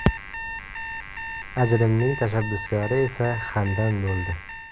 Ajrimning tashabbuskori esa Xandan bo‘ldi.